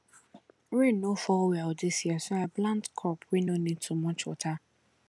rain no fall well this year so i plant crop wey no need too much water